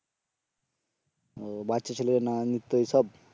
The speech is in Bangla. ও বাচ্চা ছেলের নিত্য এসব